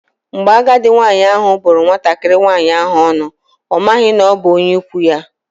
Mgbe agadi nwaanyị ahụ bụrụ nwatakịrị nwaanyị ahụ ọnụ, ọ maghị na ọ bụ onye ikwu ya.